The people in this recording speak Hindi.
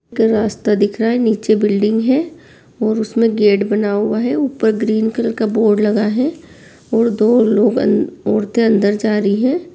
एक रास्ता दिख रहा है नीचे बिल्डिंग है और उसमे गेट बना हुआ है और ऊपर ग्रीन कलर का बोर्ड लगा है और दो लोग अन औरते अंदर जा रही है।